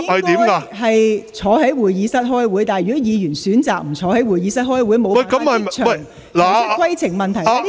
如果議員選擇不到會議廳出席會議，而無法即場提出規程問題......